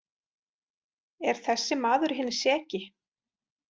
Er þessi maður hinn seki?